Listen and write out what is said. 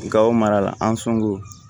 Gawo mara la an sɔngɔ